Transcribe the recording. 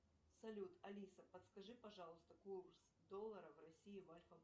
салют алиса подскажи пожалуйста курс доллара в россии в альфа